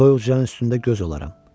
Toyuq cücənin üstündə göz olaram.